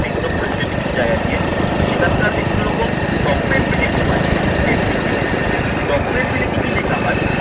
সেইগুলো করেছিলেন বিভিন্ন জায়গায় গিয়ে। তো সেখানকার বিভিন্ন রকম documentary যেগুলো হয় সেগুলো কিন্তু descriptive essay তো documentary তে কি কি লেখা হয়